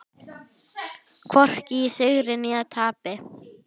Hvorki í sigri né tapi.